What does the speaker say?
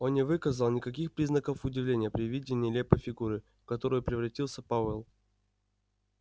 он не выказал никаких признаков удивления при виде нелепой фигуры в которую превратился пауэлл